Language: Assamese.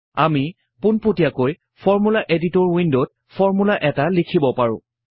আমি পুনপতিয়াকৈ ফৰ্মূলা এডিটৰ উইন্ডত ফৰ্মূলা এটা লিখিব পাৰোঁ